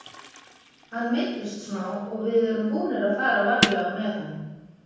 Hann meiddist smá og við erum búnir að fara varlega með hann.